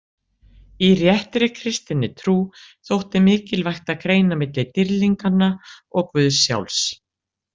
Í réttri kristinni trú þótti mikilvægt að greina milli dýrlinganna og guðs sjálfs.